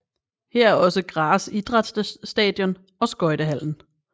Her er også Graz idrætsstadion og skøjtehallen